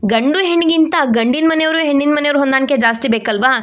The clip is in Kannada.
ಗಂಡು ಹೆಣ್ಣಿಗಿಂತ ಗಂಡಿನ ಮನೆಯವರು ಹೆಣ್ಣಿನ ಮನೆಯವರು ಹೊಂದಾಣಿಕೆ ಜಾಸ್ತಿ ಬೇಕಲ್ವಾ.